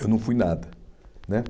Eu não fui nada, né?